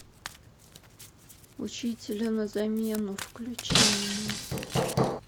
учителя на замену включи мне